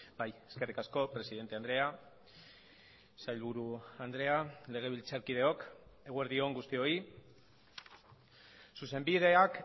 bai eskerrik asko presidente andrea sailburu andrea legebiltzarkideok eguerdi on guztioi zuzenbideak